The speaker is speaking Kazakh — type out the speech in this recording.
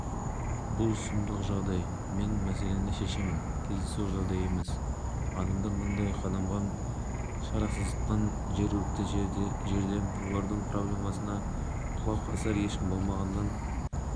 хабарланған болатын бүгін мәжілістегі жалпы отырыстан кейін бас прокурор жақып асанов журналистерге берген сұхбатында бұл